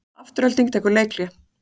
Afturelding tekur leikhlé